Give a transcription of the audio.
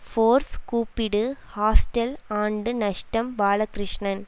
force கூப்பிடு hostel ஆண்டு நஷ்டம் பாலகிருஷ்ணன்